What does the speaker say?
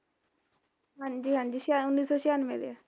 ਹਾਂਜੀ ਹਾਂਜੀ ਛਿਅ ਉਨੀ ਸੋ ਛਿਆਨਵੇ ਦੇ ਆ